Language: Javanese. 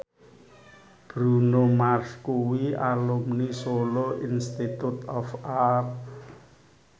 Bruno Mars kuwi alumni Solo Institute of Art